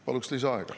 Paluks lisaaega.